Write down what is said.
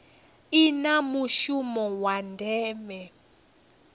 i na mushumo wa ndeme